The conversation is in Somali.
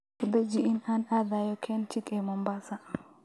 Ku dhaji in aan aadayo Kenchic ee Mombasa